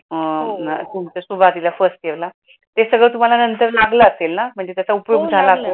तुमचा सुरवतीला फर्स्ट इयेरला ते सगळं तुम्हाला नंतर लागला असेल ना